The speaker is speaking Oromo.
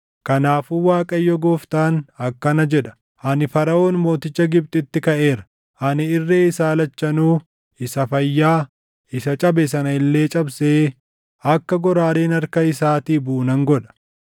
Kanaafuu Waaqayyo Gooftaan akkana jedha: Ani Faraʼoon mooticha Gibxitti kaʼeera. Ani irree isaa lachanuu, isa fayyaa, isa cabe sana illee cabsee akka goraadeen harka isaatii buʼu nan godha.